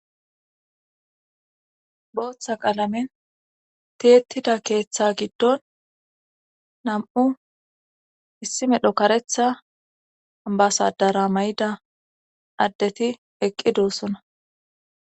Booththa qaalamen tiyettida keeththa giddon nam7u issi medho karetha basadara may7ida addeti eqqi doossona